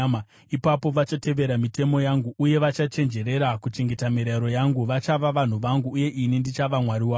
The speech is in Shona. Ipapo vachatevera mitemo yangu uye vachachenjerera kuchengeta mirayiro yangu. Vachava vanhu vangu, uye ini ndichava Mwari wavo.